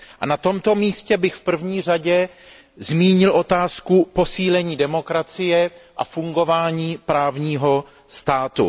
Na tomto místě bych v první řadě zmínil otázku posílení demokracie a fungování právního státu.